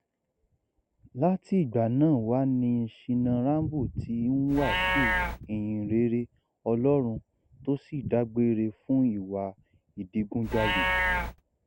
láti ìgbà náà wá ni shina rambo ti ń wàásù ìhìnrere ọlọrun tó sì dágbére fún ìwà ìdigunjalè